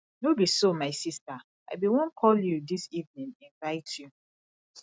no be so my sister i bin wan call you dis evening invite you